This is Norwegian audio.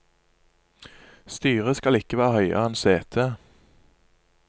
Styret skal ikke være høyere enn setet.